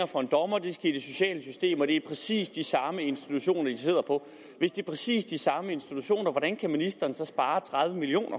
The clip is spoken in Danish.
for en dommer de skal i det sociale system og det er præcis de samme institutioner de sidder på hvis det er præcis de samme institutioner hvordan kan ministeren så spare tredive million